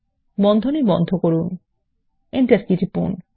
বন্ধনী বন্ধ করুন Enter কী টিপুন